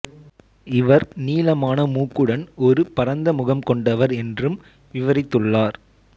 இவர் நீளமான மூக்குடன் ஒரு பரந்த முகம் கொண்டவர் என்றும் விவரித்துள்ளார்